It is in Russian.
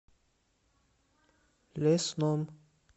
лесном